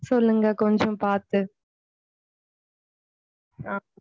சொல்லுங்க கொஞ்சம் பார்த்து.